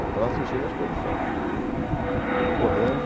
Eu estava assistindo a exposição, né, percorrendo.